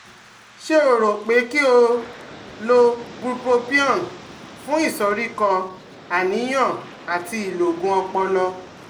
Ṣé o rò pé kí o lo Bupropion fún ìsoríkọ́, àníyàn àti ìlọgun ọpọlọ?